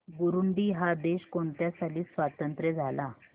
Burundi हा देश कोणत्या साली स्वातंत्र्य झाला